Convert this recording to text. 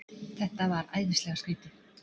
Þetta var æðislega skrýtið.